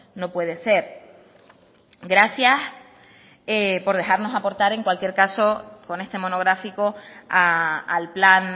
no puede ser gracias por dejarnos aportar en cualquier caso con este monográfico al plan